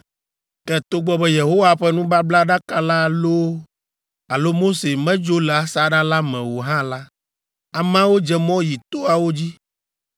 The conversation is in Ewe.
Ke togbɔ be Yehowa ƒe nubablaɖaka la loo alo Mose medzo le asaɖa la me o hã la, ameawo dze mɔ yi toawo dzi.